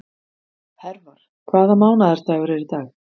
Hervar, hvaða mánaðardagur er í dag?